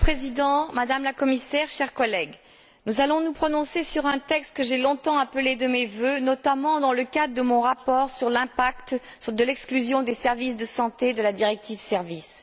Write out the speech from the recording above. Monsieur le Président, Madame la Commissaire, chers collègues, nous allons nous prononcer sur un texte que j'ai longtemps appelé de mes vœux, notamment dans le cadre de mon rapport sur l'impact de l'exclusion des services de santé de la directive services.